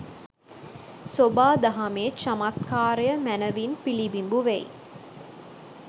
සොබා දහමේ චමත්කාරය මැනවින් පිළිබිඹු වෙයි.